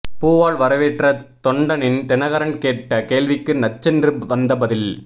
பூவால் வரவேற்ற தொண்டனிடம் தினகரன் கேட்ட கேள்விக்கு நச்சென்று வந்த பதில்